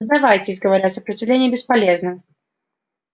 сдавайтесь говорят сопротивление бесполезно